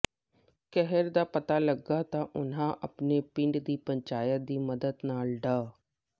ਕਹਿਰ ਦਾ ਪਤਾ ਲੱਗਾ ਤਾਂ ਉਨ੍ਹਾਂ ਅਪਣੇ ਪਿੰਡ ਦੀ ਪੰਚਾਇਤ ਦੀ ਮਦਦ ਨਾਲ ਡਾ